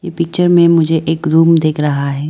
Picture में मुझे एक रूम दिख रहा है।